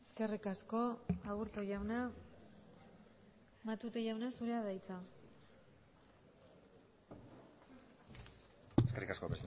eskerrik asko aburto jauna matute jauna zurea da hitza eskerrik asko